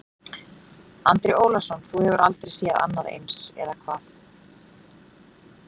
Andri Ólafsson: Þú hefur aldrei séð annað eins, eða hvað?